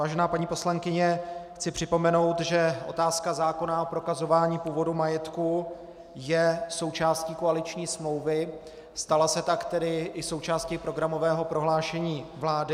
Vážená paní poslankyně, chci připomenout, že otázka zákona o prokazování původu majetku je součástí koaliční smlouvy, stala se tak tedy i součástí programového prohlášení vlády.